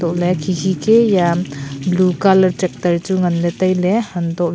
ooley khi khi key ya am blue colour tractor chu nganlay tailay hantohley.